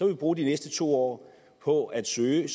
vi bruge de næste to år på at søge